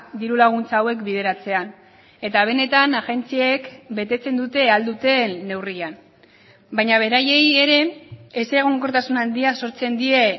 diru laguntza hauek bideratzean eta benetan agentziek betetzen dute ahal duten neurrian baina beraiei ere ez egonkortasun handia sortzen die